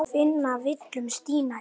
Finnast villur stílum í.